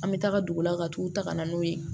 An bɛ taga dugu la ka t'u ta ka na n'o ye